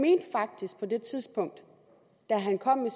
det er tidspunkt da han kom med